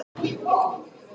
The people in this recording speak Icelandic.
Brekkuhlíð